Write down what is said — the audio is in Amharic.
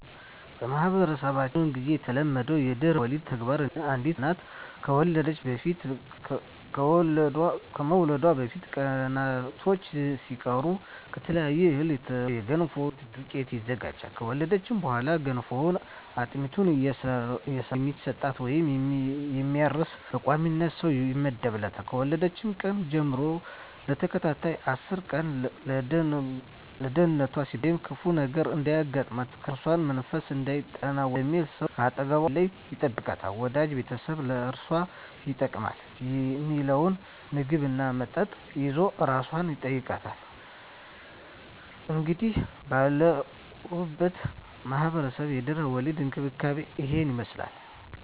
በማህበረሰባችን ብዙ ግዜ የተለመደው የድህረ ወሊድ ተግባር አንዲት እናት ከመውለዷ በፊት ቀናቶች ሲቀሩ ከተለያየ እህል የተውጣጣ የገንፎና የአጥሚት ዱቄት ይዘጋጃል። ከወለደች በኋላ ገንፎና አጥሚት እየሰራ የሚሰጣት ወይም የሚያርስ በቋሚነት ሰው ይመደብላታል፣ ከወለደችበት ቀን ጀም ለተከታታይ አስር ቀን ለደንነቷ ሲባል ወይም ክፉ ነገር እንዳያገኛት(እርኩስ መንፈስ እንዳይጠናወታት) በሚል ሰው ከአጠገቧ ሳይለይ ይጠብቃታል፣ ወዳጅ ቤተሰብ ለአራሷ ይጠቅማል ሚለውን ምግብ እና መጠጥ ይዞ አራሷን ይጠይቃል። እንግዲህ ባለሁበት ማህበረሰብ የድህረ ወሊድ እንክብካቤ እሂን ይመስላል።